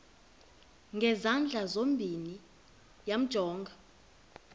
ngezandla zozibini yamjonga